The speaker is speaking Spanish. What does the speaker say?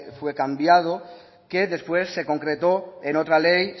fue cambiado que después se concretó en otra ley